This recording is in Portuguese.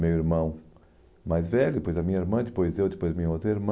Meu irmão mais velho, depois a minha irmã, depois eu, depois minha outra irmã.